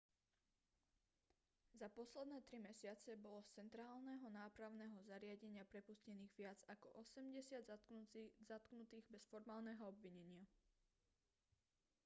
za posledné 3 mesiace bolo z centrálneho nápravného zariadenia prepustených viac ako 80 zatknutých bez formálneho obvinenia